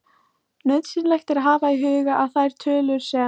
Nauðsynlegt er að hafa í huga að þær tölur sem